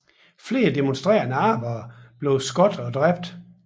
Flere demonstrerende arbejdere blev skudt og dræbt